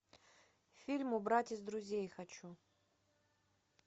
фильм убрать из друзей хочу